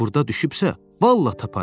Burda düşübsə, vallah taparıq.